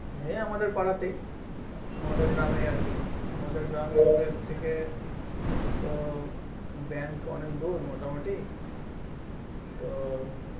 এই আমাদের পাড়াতেই আমাদের গ্রাম এ আরকি আমাদের থেকে তো bank অনেক দূর মোটামোটি তো